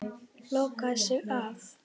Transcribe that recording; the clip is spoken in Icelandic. Lokaði sig af.